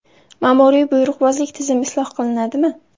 Ma’muriy-buyruqbozlik tizimi isloh qilinadimi?